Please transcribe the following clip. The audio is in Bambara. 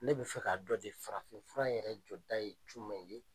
Ne bi fɛ ka dɔn de farafin fura yɛrɛ jɔda ye jumɛn ye ?